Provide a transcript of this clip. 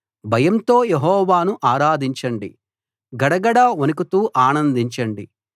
భయంతో యెహోవాను ఆరాధించండి గడగడ వణకుతూ ఆనందించండి